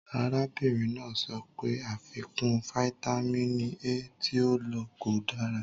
Arábìnrin náà sọ pé àfikún fáítámínì A tí ó lò kò dára.